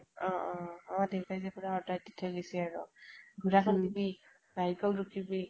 অ অ অ অ দেউতাই যে পুৰা order দি থৈ গেছি আৰু। গুড়া খান্দিবি, bike ত নুঠিবি